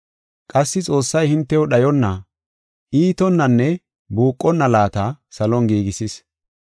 Qassi Xoossay hintew dhayonna, iitonnanne buuqonna laata salon giigisis.